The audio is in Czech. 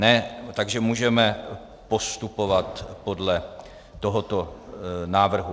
Ne, takže můžeme postupovat podle tohoto návrhu.